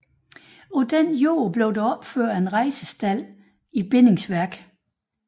På den jord blev der opført en rejsestald i bindingsværk